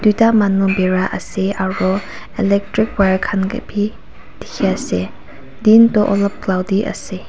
duita manu birai ase aru electric wire khan ke bi dikhi ase din toh olop cloudy ase.